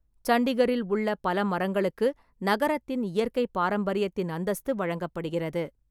சண்டிகரில் உள்ள பல மரங்களுக்கு நகரத்தின் இயற்கை பாரம்பரியத்தின் அந்தஸ்து வழங்கப்படுகிறது.